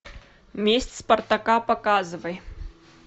месть спартака показывай